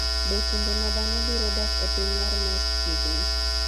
Be kinde ma dhano biro dak e piny mar Mars chiegni?